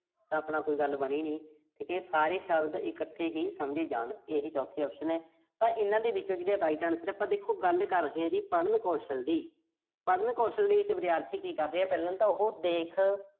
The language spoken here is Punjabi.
ਕੋਈ ਗੱਲ ਬਣੀ ਨੀਂ। ਠੀਕਾ ਜੇ ਸਾਰੇ ਸ਼ਬਦਾ ਇਕੱਠੇ ਹੀ ਸਮਝੇ ਜਾਣ। ਇਹੀ ਚੌਥੀ option ਆ। ਤਾਂ ਇਨ੍ਹਾਂ ਦੇ ਵਿੱਚੋਂ ਜਿਹੜਾ right answer ਆ। ਦੇਖੋ ਆਪਾਂ ਗੱਲ ਕਰ ਰਹੇ ਆਂ ਜੀ, ਪੜ੍ਹਨ ਕੌਸ਼ਲ ਦੀ। ਪੜ੍ਹਨ ਕੌਸ਼ਲ ਦੇ ਵਿੱਚ ਵਿਦਿਆਰਥੀ ਕਿ ਕਰ ਰਿਹਾ, ਪਹਿਲਾਂ ਤਾਂ ਉਹੋ ਦੇਖ।